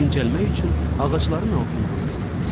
Dincəlmək üçün ağacların altında oturdum.